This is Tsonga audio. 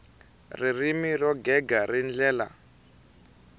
ririmi ro gega hi ndlela